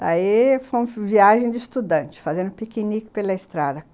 Daí foi uma viagem de estudante, fazendo piquenique pela estrada.